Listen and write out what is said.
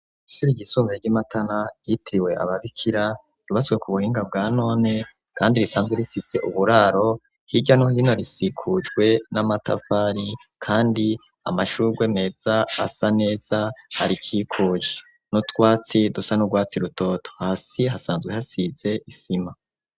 ishuri ryisumbuye ry'imatana , ryitiriwe ababikira ,ryubatswe ku buhinga bwa none , kandi risanzwe rifise uburaro , hirya no hino rikikujwe n'amatafari , kandi amashurwe meza asa neza arikikuje. N'utwatsi dusa n'urwatsi rutoto . Hasi hasanzwe hasize ,isima.